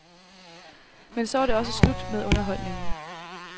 Men så var det også slut med underholdningen.